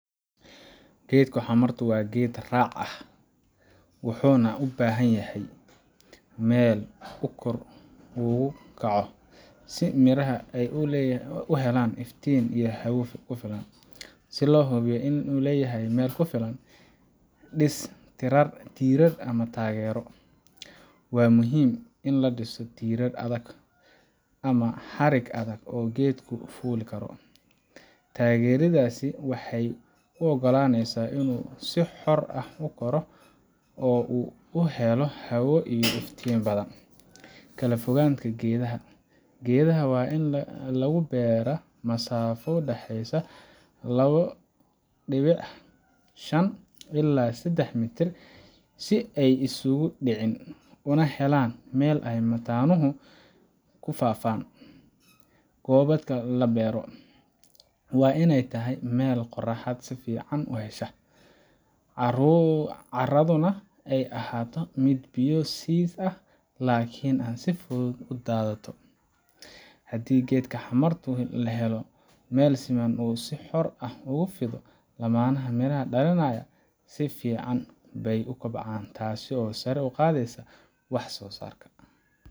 Geedka xamardu waa geed raac ah, wuxuuna u baahan yahay meel uu kor ugu kaco, si miraha ay u helaan iftiin iyo hawada ku filan. Si loo hubiyo in uu leeyahay meel ku filan: Dhis tiirar ama taageero: Waa muhiim in la dhiso tiirar adag ama xarig adag oo geedku fuuli karo. Taageeradaasi waxay u oggolaanaysaa inuu si xor ah u koro oo uu helo hawo iyo iftiin badan. Kala fogaanta geedaha: Geedaha waa in lagu beeraa masaafo u dhaxaysa labo dhibic shan ilaa sedax mitir si ay isugu dhicin, una helaan meel ay mataanuhu u daadato. Haddii geedka xamardu helo meel siman oo uu si xor ah ugu fido, laamaha miraha dhalinaya si fiican bay u kobcaan, taasoo sare u qaadaysa wax soosaarka.